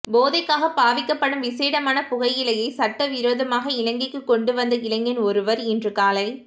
போதைக்காக பாவிக்கப்படும் விஷேடமான புகையிலையை சட்டவிரோதமாக இலங்கைக்கு கொண்டு வந்த இளைஞன் ஒருவர் இன்று காலை